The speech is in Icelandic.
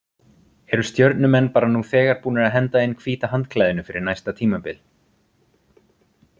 Eru Stjörnumenn bara nú þegar búnir að henda inn hvíta handklæðinu fyrir næsta tímabil?